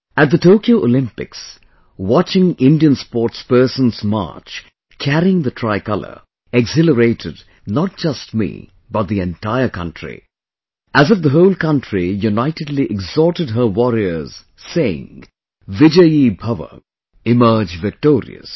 At the Tokyo Olympics, watching Indian sportspersons march carrying the Tricolour exhilarated not just me but the entire country...as if the whole country unitedly exhorted her warriors saying, "Vijayi Bhava emerge victorious